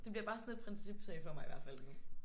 Det bliver bare sådan en principsag for mig i hvert fald nu